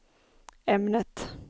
ämnet